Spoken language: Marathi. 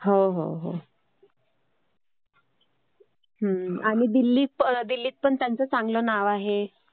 हो, हो, हो. आणि दिल्लीत पण त्याचं चांगलं नाव आहे.